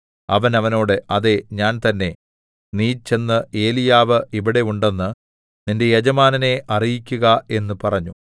അവൻ അവനോട് അതേ ഞാൻ തന്നേ നീ ചെന്ന് ഏലീയാവ് ഇവിടെ ഉണ്ടെന്ന് നിന്റെ യജമാനനെ അറിയിക്കുക എന്ന് പറഞ്ഞു